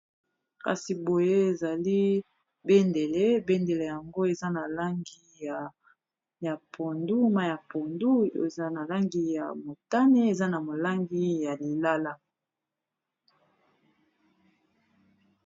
Kasi boye ezali bendele, bendele yango eza na langi ya pondu mayi ya pondu oyo eza na langi ya motane eza na langi ya lilala.